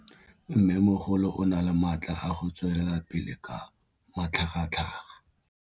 Mmêmogolo o na le matla a go tswelela pele ka matlhagatlhaga.